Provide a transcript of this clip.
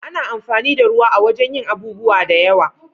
Ana amfani da ruwa a wajen yin abubuwa da yawa.